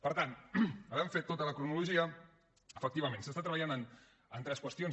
per tant havent fet tota la cronologia efectivament es treballa en tres qüestions